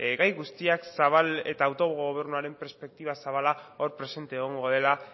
gai guztiak zabal eta autogobernuaren perspektiba zabala hor presente egongo dela